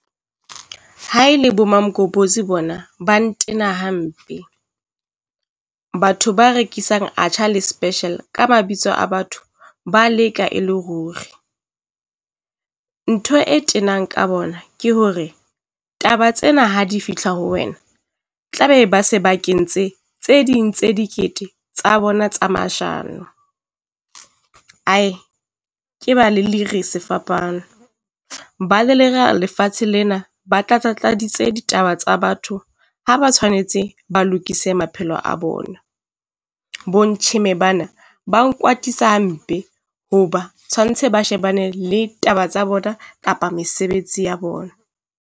Ha e le bo mamgobozi bona ba ntena hampe, batho ba rekisang atchar le special ka mabitso a batho ba leka e le ruri. Ntho e tenang ka bona ke hore taba tsena ha di fihla ho wena, tla be ba se ba kentse tse ding tse dikete tsa bona tsa mashano, ae ke ba lelere sefapano. Ba lelera lefatshe lena, ba tlatsa tladitse ditaba tsa batho ha ba tshwanetse ba lokise maphelo a bona. Bo ntjheme bana ba nkwatisa hampe, hoba tshwantse ba shebane le taba tsa bona, kapa mesebetsi ya bona.